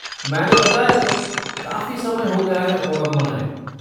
मैंने बताया तो, काफ़ी समय हो गया है ओणम मनाए।